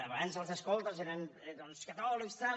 abans els escoltes eren doncs catòlics tal